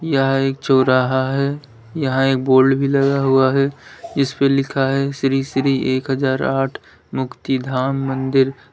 यह एक चौराहा है यहां एक बोर्ड भी लगा हुआ है इस पर लिखा है श्री श्री एक हजार आठ मुक्तिधाम मंदिर।